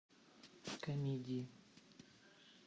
комедии